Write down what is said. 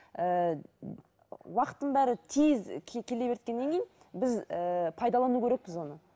ііі уақыттың бәрі тез келе кейін біз ііі пайдалану керекпіз оны